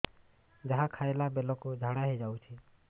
ଯାହା ଖାଇଲା ବେଳକୁ ଝାଡ଼ା ହୋଇ ଯାଉଛି